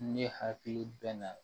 Ne hakili bɛ na